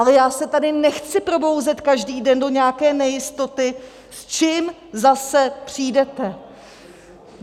Ale já se tady nechci probouzet každý den do nějaké nejistoty, s čím zase přijdete.